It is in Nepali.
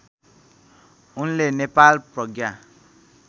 उनले नेपाल प्रज्ञा